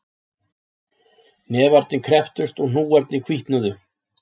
Hnefarnir krepptust og hnúarnir hvítnuðu